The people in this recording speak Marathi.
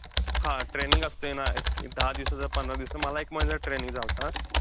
हा training असतंय ना. एक अं दहा दिवसाचं पंधरा दिवसाचं. मला एक महिन्याचं training चं झालता.